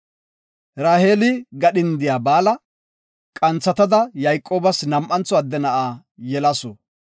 Raheeli gadhindiya Baala qanthatada Yayqoobas nam7antho adde na7a yelasu.